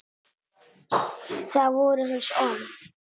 Það voru hans orð.